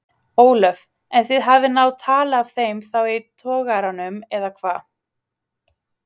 Ólöf: En þið hafið náð tali af þeim þá í togaranum eða hvað?